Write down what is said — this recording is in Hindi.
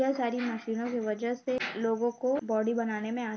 यह सारी मशीनों की वजह से लोगों को बॉडी बनाने में आ --